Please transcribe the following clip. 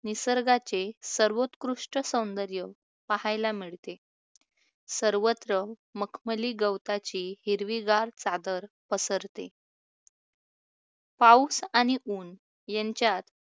निसर्गाचे सर्वोत्कृष्ट सौंदर्य पाहायला मिळते. सर्वत्र मखमली गवताची हिरवीगार चादर पसरते. पाऊस आणि ऊन यांच्यात